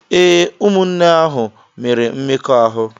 Ee, ụmụnne ahụ mere mmekọahụ.